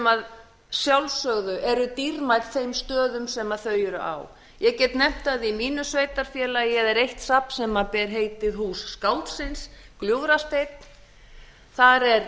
að sjálfsögðu eru dýrmæt þeim stöðum sem þau eru á ég get nefnt að í mínu sveitarfélagi er eitt safn sem ber heitið hús skáldsins gljúfrasteinn þar er